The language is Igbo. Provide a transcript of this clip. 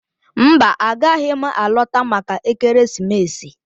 Mba, agaghị m alọta maka ekeresimesi.